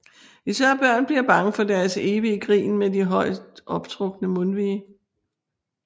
Især børn bliver bange for deres evige grin med de højt optrukne mundvige